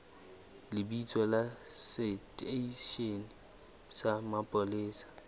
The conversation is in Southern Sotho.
lebitso la seteishene sa mapolesa